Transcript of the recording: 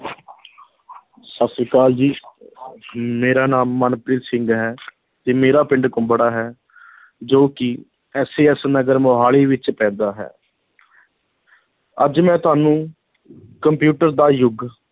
ਸਤਿ ਸ੍ਰੀ ਅਕਾਲ ਜੀ ਮੇਰਾ ਨਾਮ ਮਨਪ੍ਰੀਤ ਸਿੰਘ ਹੈ, ਤੇ ਮੇਰਾ ਪਿੰਡ ਕੁੰਬੜਾ ਹੈ ਜੋ ਕਿ SAS ਨਗਰ ਮੁਹਾਲੀ ਵਿੱਚ ਪੈਂਦਾ ਹੈ ਅੱਜ ਮੈਂ ਤੁਹਾਨੂੰ ਕੰਪਿਊਟਰ ਦਾ ਯੁੱਗ